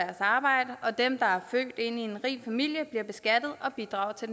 arbejde og dem der er født ind i en rig familie bliver beskattet og bidrager til